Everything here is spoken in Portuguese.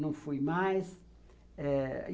Não fui mais. Eh